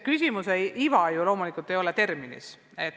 Küsimuse iva aga loomulikult ei ole terminis.